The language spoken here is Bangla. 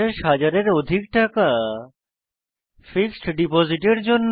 50000 এর অধিক টাকা ফিক্সড ডিপোজিটের জন্য